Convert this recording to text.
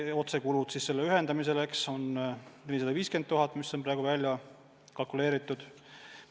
Otsekulud ühendamiseks on 450 000 eurot – see on praeguseks välja kalkuleeritud.